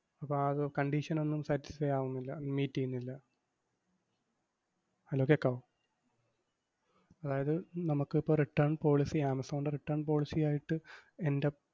അപ്പം ആഹ് അത് condition ഒന്നും satisfy ആവുന്നില്ല, meet എയ്യുന്നില്ല. Hello കേക്കാവോ? അതായത് നമുക്കിപ്പം return policy ആമസോണിൻറെ return policy ആയിട്ട് എൻറെ,